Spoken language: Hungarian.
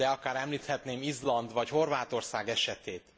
De akár említhetném Izland, vagy Horvátország esetét.